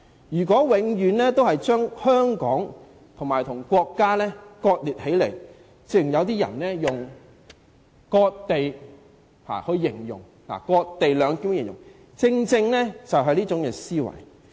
如果永遠把香港和國家割裂起來，正如有些人以"割地兩檢"來形容，只因他們存在這種思維。